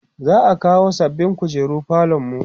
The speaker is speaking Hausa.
za'a kawo sababbin kujeru falonmu